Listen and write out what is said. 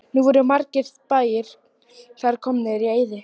Nú eru margir bæir þar komnir í eyði.